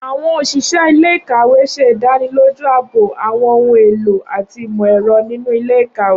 Awọn oṣiṣẹ ile-ikawe ṣe idaniloju aabo awọn ohun elo ati imọ-ẹrọ ninu ile-ikawe.